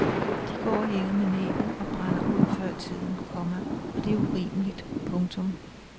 De går og hænger med næbbet og brænder ud før tiden, komma og det er urimeligt. punktum